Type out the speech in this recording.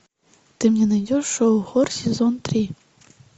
ты мне найдешь шоу хор сезон три